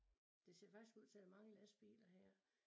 Det ser faktisk ud til at mange lastbiler her